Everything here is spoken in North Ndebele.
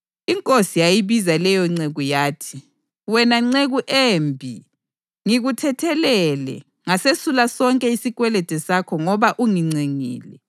Inkosi yayibiza leyonceku, yathi, ‘Wena nceku embi. Ngikuthethelele, ngasesula sonke isikwelede sakho ngoba ungincengile.